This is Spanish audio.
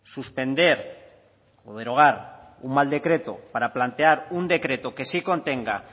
suspender o derogar un mal decreto para plantear un decreto que sí contenga